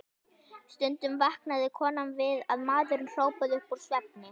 Stundum vaknaði konan við að maðurinn hrópaði upp úr svefni